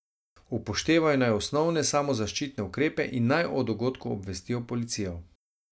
Upoštevajo naj osnovne samozaščitne ukrepe in naj o dogodku obvestijo policijo.